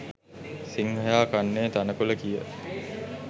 සිංහයා කන්නේ තණකොළ කිය